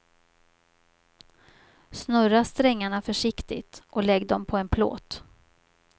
Snurra strängarna försiktigt och lägg dem på en plåt.